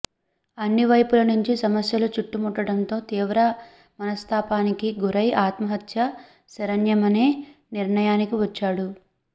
అన్నివైపుల నుంచి సమస్యలు చుట్టుముట్టడంతో తీవ్ర మనస్థాపానికి గురై ఆత్మహత్యే శరణ్యమనే నిర్ణయానికి వచ్చాడు